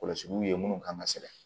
Kɔlɔsiw ye minnu kan ka sɛgɛrɛ